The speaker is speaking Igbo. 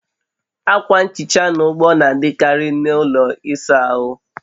Akwa nhicha na ogbo na-adịkarị na ụlọ ịsa ahụ